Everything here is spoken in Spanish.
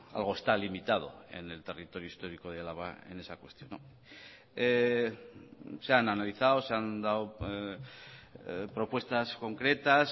algo está limitado en el territorio histórico de álava en esa cuestión se han analizado se han dado propuestas concretas